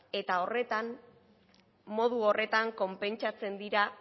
eta modu horretan konpentsatzen dira